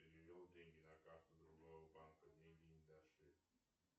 перевел деньги на карту другого банка деньги не дошли